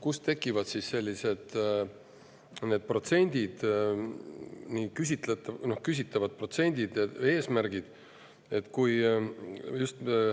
Kust tekivad sellised küsitavad protsendid ja eesmärgid?